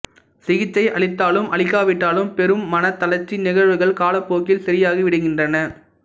சிகிச்சை அளித்தாலும் அளிக்காவிட்டாலும் பெரும் மனத் தளர்ச்சி நிகழ்வுகள் காலப்போக்கில சரியாகி விடுகின்றன